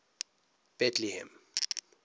betlehem